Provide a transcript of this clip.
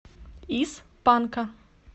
из панка